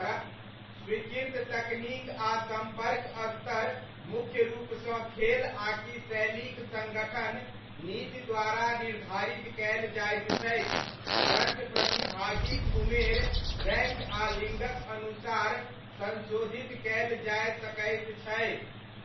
स्वीकृत तकनीक आ सम्पर्क स्तर मुख्य रूपसँ खेल आकि शैलीक सङ्गठन नीति द्वारा निर्धारित कयल जाइत छैक परञ्च प्रतिभागीक उमेर, रैङ्क आ लिङ्गक अनुसार संशोधित कयल जाय सकैत छै।